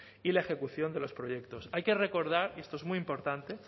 y la ejecución de los proyectos hay que recordar y esto es muy importante